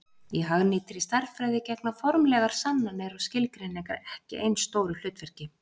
í hagnýttri stærðfræði gegna formlegar sannanir og skilgreiningar ekki eins stóru hlutverki